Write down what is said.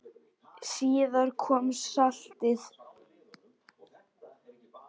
Síðar kom saltið.